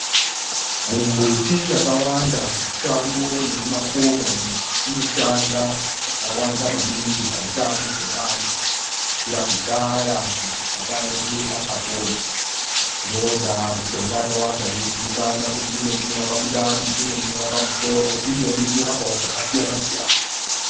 Mumbuti yakawanda mushango nemumakomo umo inoshanda zvakawanda maningi pautano hwevantu kubvira kudhaya madzibaba edu achapona. Ndondaa mishonga yakawanda yeizikana kuti imweni inorapa mundani, imweni inorapa musoro, imweni inorapawo zvakasiyana-siyana.